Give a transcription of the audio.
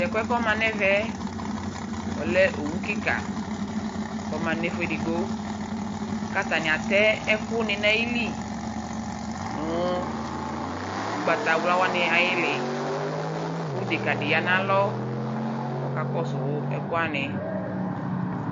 owu be dɩ lanʊtɛ ma nʊ ɛmɛ, ɔya nʊ ɛfʊ edigbo kʊ atanɩ atɛ ɛkʊnɩ nʊ ayili, nʊ ugbatawlawanɩ ay'ili, kʊ dekadɩ ya nʊ alɔ, kʊ ɔkakɔsʊ ɛkʊwanɩ